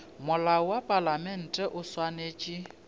molao wa palamente o swanetše